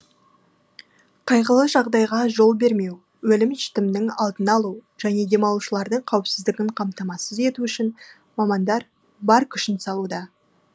қайғылы жағдайға жол бермеу өлім жітімнің алдын алу және демалушылардың қауіпсіздігін қамтамасыз ету үшін мамандар бар күшін салуда